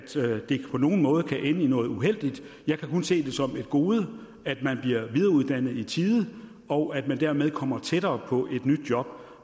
det på nogen måde kan ende i noget uheldigt jeg kan kun se det som et gode at man bliver videreuddannet i tide og at man dermed kommer tættere på et nyt job